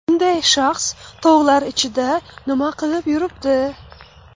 Bunday shaxs tog‘lar ichida nima qilib yuribdi?